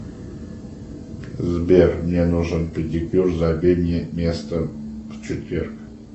сбер мне нужен педикюр забей мне место в четверг